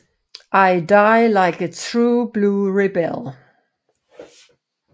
I die like a true blue rebel